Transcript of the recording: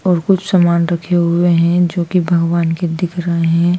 और कुछ सामान रखे हुए है जोकि भगवान के दिख रहे--